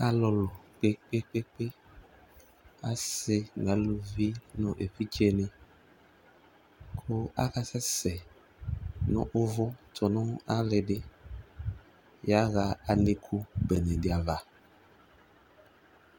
Aliɔlʋ kpekpekpekpe, asi nʋ aluvi nʋ evidze ni, kʋ akasɛsɛ nʋ uvu tʋ nʋ alidi yaɣa alikʋ bene di ava